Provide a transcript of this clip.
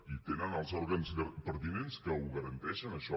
i tenen els òrgans pertinents que ho garanteixen això